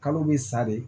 Kalo bɛ sa de